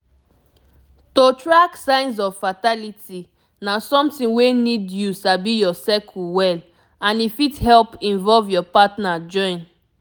to track signs of fertility na something wey need you sabi your cycle well and e fit help invovle your partner join